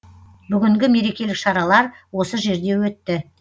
бүгінгі мерекелік шаралар осы жерде өтті